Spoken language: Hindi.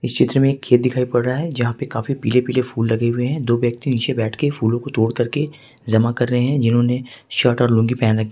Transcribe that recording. इस चित्र में एक खेत दिखाई पड़ रहा है जहां पर काफी पीले पीले फूल लगे हुए हैं दो व्यक्ति नीचे बैठ करके फूलों को तोड़कर जमा कर रहे हैं जिन्होंने शर्ट और लुंगी पहन रखी है।